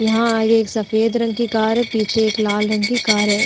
यहाँ आगे एक सफेद रंग की कार है। पीछे एक लाल रंग की कार है।